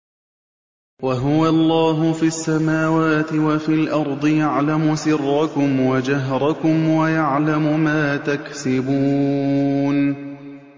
وَهُوَ اللَّهُ فِي السَّمَاوَاتِ وَفِي الْأَرْضِ ۖ يَعْلَمُ سِرَّكُمْ وَجَهْرَكُمْ وَيَعْلَمُ مَا تَكْسِبُونَ